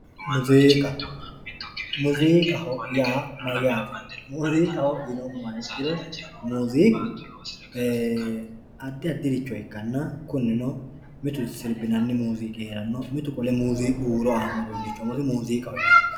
Muziiqa, muziiqaho yaa mayyate, muziiqaho yineemmoha ikkiro muziiqu addi addire ikkanna mitu sunanoha mitu huuro aanoho.